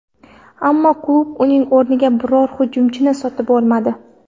Ammo klub uning o‘rniga biror hujumchini sotib olmadi.